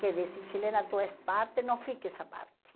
Que dizem, Chilena, tu és parte, não fiques à parte.